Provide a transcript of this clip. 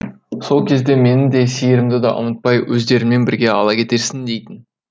сол кезде мені де сиырымды да ұмытпай өздеріңмен бірге ала кетерсің дейтін